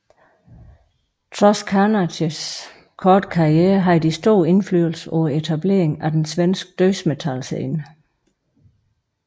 Trods Carnages korte karriere havde de stor indflydelse på etableringen af den svenske dødsmetal scene